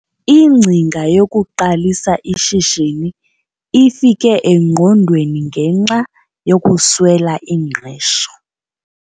Ingcinga yokuqalisa ishishini ifike engqondweni ngenxa yokuswela ingqesho.